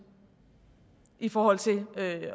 i forhold til